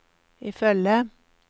ifølge